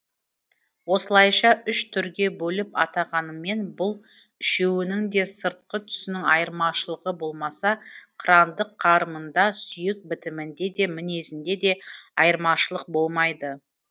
осылайша үш түрге бөліп атағанымен бұл үшеуінің де сыртқы түсінің айырмашылығы болмаса қырандық қарымында сүйек бітімінде де мінезінде де айырмашылық болмайды